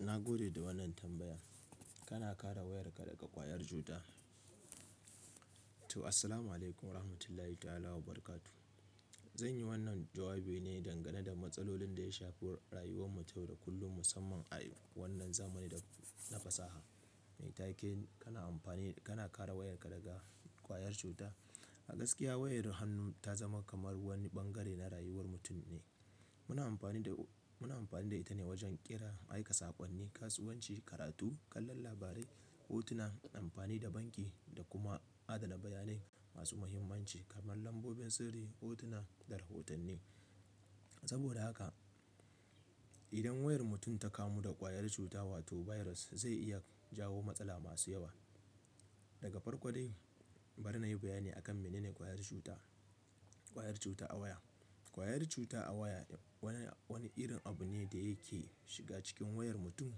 Na gode da wannan tambaya. Kana kare wayarka daga ƙwayar cuta? To, assalamualaikum warahmatullahi ta'ala wabarakatuh. Zanyi wannan jawabi ne dangane da matsalolin da ya shafi rayuwar mu ta yau da kullum musamman a wannan zamani da na fasaha. Me take-- kana amfani, kana kare wayarka daga ƙwayar cuta? A gaskiya wayar hannu ta zama kamar wani bangare na rayuwar mutum ne. Muna amfani da, muna amfani da ita ne wajen ƙira, aika saƙonni, kasuwanci, karatu, kallon labarai, hotuna, amfani da banki da kuma adana bayanai masu muhimmanci kamar lambobin sirri, hotuna da rahotanni. Saboda haka, idan wayar mutum ta kamu da ƙwayar cuta wato virus zai iya jawo matsala masu yawa. Daga farko dai, bari na yi bayani akan menene ƙwayar cuta, ƙwayar cuta a waya. Ƙwayar cuta a waya wani, wani irin abu ne da yake shiga cikin wayar mutum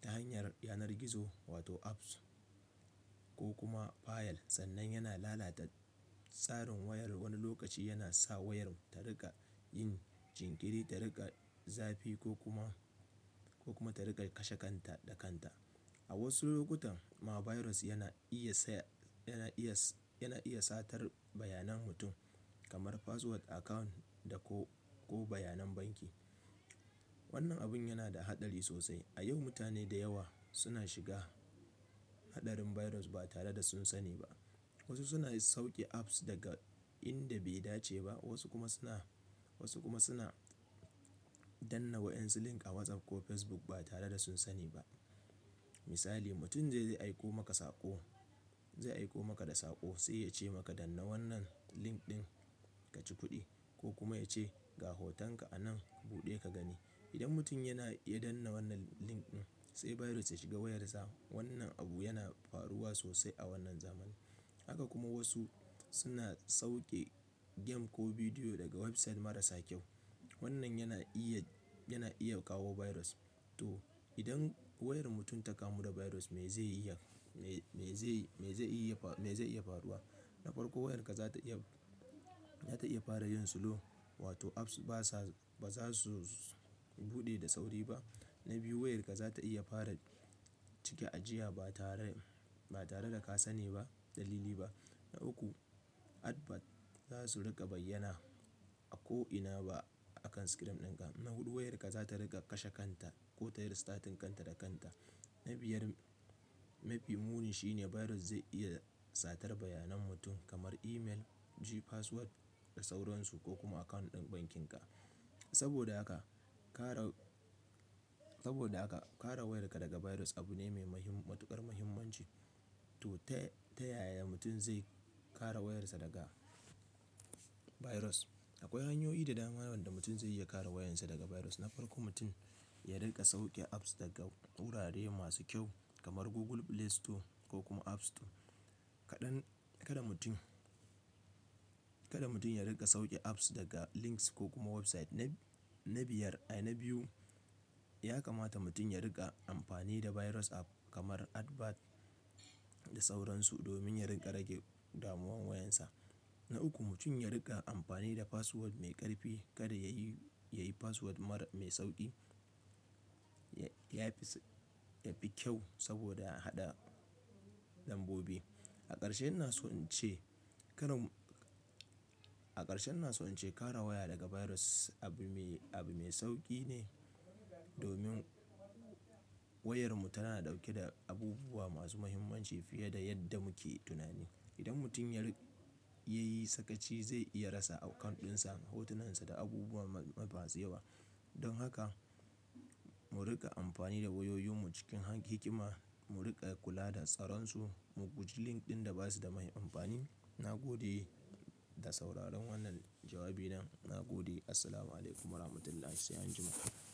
ta hanyar yanar gizo wato apps ko kuma fayil sannan yana lalata tsarin wayar wani lokaci yana sa wayar ta riƙa yin jinkiri, ta riƙa zafi ko kuma, ko kuma ta riƙa kashe kanta da kanta. A wasu lokutan ma virus yana iya sa, yana iya, yana iya satar bayanan mutum kamar password account da ko, ko bayanan banki. Wannan abun yana da haɗari sosai. A yau mutane da yawa suna shiga haɗarin virus ba tare da sun sani ba. Wasu suna sauke apps daga inda bai dace ba, wasu kuma suna, wasu kuma suna danna wa'in su link a WhatsApp ko Facebook ba tare da sun sani ba. Misali, mutum zai, zai aiko maka saƙo, zai aiko maka da saƙo sai ya ce maka danna wannan link ɗin ka ci kuɗi ko kuma ya ce ga hotonka anan buɗe ka gani. Idan mutum yana iya danna wannan link ɗin, sai virus ta shiga wayarsa. Wannan abu yana faruwa sosai a wannan zamani. Haka kuma wasu suna sauke game ko bidiyo daga website marasa kyau. Wannan yana iya, yana iya kawo virus. To, idan wayar mutum ta kamu da virus me zai iya, me, me zai, me zai iya, me zai iya faruwa? Na farko wayarka za ta iya, za ta iya fara yin slow wato apps basa, ba za su buɗe da sauri ba. Na biyu wayarka za ta iya fara cike ajiya ba tare, ba tare da ka sani ba dalili ba. Na uku advert za su riƙa bayyana a ko'ina ba akan screen ɗinka. Na hudu wayarka za ta riƙa kashe kanta ko ta yi restarting kanta da kanta. Na biyar, mafi muni shine virus zai iya satar bayanan mutum kamar email, G password da sauransu ko kuma account ɗin bankinka. Saboda haka, kare, saboda haka kare wayarka daga virus abu ne mai mahim-- matuƙar muhimmanci. To, ta, ta yaya mutum zai kare wayarsa daga virus? Akwai hanyoyi da dama wanda mutum zai iya kare wayansa daga virus. Na farko mutum ya riƙa sauke apps daga wurare masu kyau kamar Google Play Store ko kuma App Store. Kaɗan, kada mutum, kada mutum ya riƙa sauke apps daga links ko kuma website. Na, na biyar, ai, na biyu ya kamata mutum ya riƙa amfani da virus app kamar advert da sauransu domin ya riƙa rage damuwan wayansa. Na uku mutum ya riƙa amfani da password mai ƙarfi. Kada yayi, yayi password mara, mai sauƙi. Ya fi, ya fi kyau saboda a haɗa lambobi. A ƙarshe ina so in ce karan-- a ƙarshe ina so in ce kare waya daga virus abu me, abu mai sauƙi ne domin wayar mu tana ɗauke da abubuwa masu muhimmanci fiye da yadda muke tunani. Idan mutum ya ri-- ya yi sakaci zai iya rasa account ɗinsa, hotonansa da abubuwa masu yawa. Don haka, mu riƙa amfani da wayoyi mu cikin han hikima, mu riƙa kula da tsaronsu, mu guji link ɗin da basu da mai amfani. Na gode da sauraron wannan jawabi na. Na gode. Assalamualaikum warahmatullahi sai an jima'a.